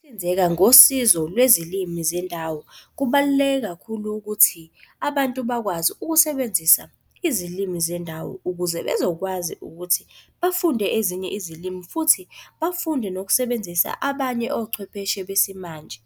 Ukuhlinzeka ngosizo lwezilimi zendawo, kubaluleke kakhulu ukuthi abantu bakwazi ukusebenzisa izilimi zendawo ukuze bezokwazi ukuthi bafunde ezinye izilimi futhi bafunde nokusebenzisa abanye ochwepheshe besimanje.